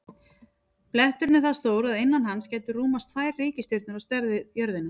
Bletturinn er það stór að innan hans gætu rúmast tvær reikistjörnur á stærð við jörðina.